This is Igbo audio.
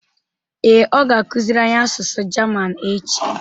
Ee, ọ ga-akụziri anyị asụsụ German echi